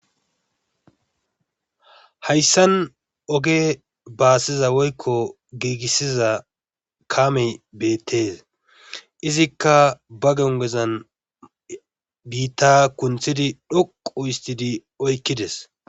Hayssan oge baasiza woykko giigissiza kaame beettes izikka ba gongezan biitta kunttidi dhoqu istidi oykkides.